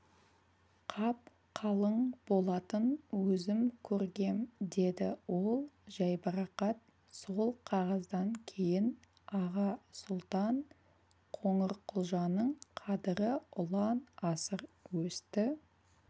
қап-қалың болатын өзім көргем деді ол жайбарақат сол қағаздан кейін аға сұлтан қоңырқұлжаның қадірі ұлан-асыр өсті